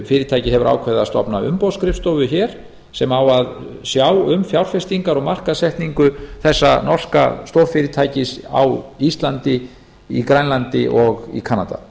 fyrirtækið hefur ákveðið að stofna umboðsskrifstofu hér sem á að sjá um fjárfestingar og markaðssetningu þessa norska stórfyrirtækis á íslandi á grænlandi og í kanada